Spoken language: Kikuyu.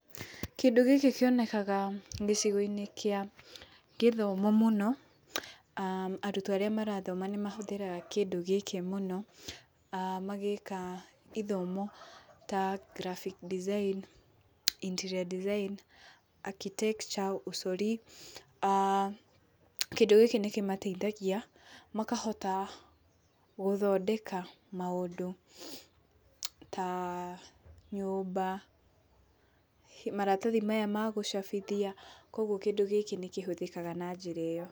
Kĩndũ gĩkĩ kĩonekaga gĩcigo-inĩ kĩa gĩthimo mũno, arutwo arĩa marathoma nĩmahũthĩraga kĩndũ gĩkĩ mũno magĩka gĩthomo ya graphics design, interior design, architecture, ũcori aah kĩndũ gĩkĩ nĩ kĩmateithagia makahota gũthondeka maũndũ ta nyũmba, maratathi maya magũcabithia kwoguo kĩndũ gĩkĩ nĩ kĩhũthĩkaga na njĩra ĩyo.